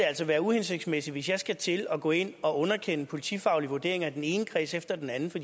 altså være uhensigtsmæssigt hvis jeg skal til at gå ind og underkende politifaglige vurderinger i den ene kreds efter den anden for